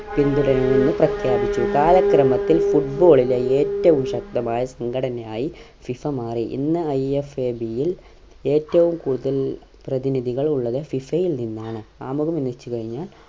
പിന്തുടർന്നുന്ന് പ്രഖ്യാപിച്ചു കാലക്രമത്തിൽ football ലെ ഏറ്റവും ശക്തമായ സംഘടനയായി FIFA മാറി ഇന്ന് IFAB ൽ ഏറ്റവും കൂടുതൽ പ്രതിനിധികൾ ഉള്ളത് FIFA ൽ നിന്നാണ് ആമുഖം എന്നു വെച്ചുകഴിഞ്ഞാൽ